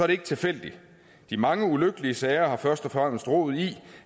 det ikke tilfældigt de mange ulykkelige sager har først og fremmest rod i